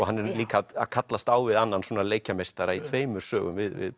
hann er líka að kallast á við annan leikjameistara í tveimur sögum við